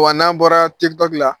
Wa n'an bɔra Tiktok la